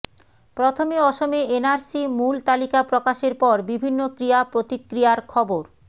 প্রথমে অসমে এনআরসি মূল তালিকা প্রকাশের পর বিভিন্ন ক্রিয়া প্রতিক্রিয়ার খবর